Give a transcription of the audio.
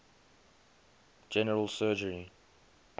general surgery